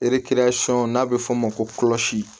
Ee sɔ n'a bɛ f'o ma ko